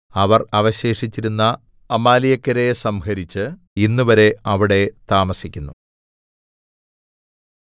അവർ അവശേഷിച്ചിരുന്ന അമാലേക്യരെ സംഹരിച്ച് ഇന്നുവരെ അവിടെ താമസിക്കുന്നു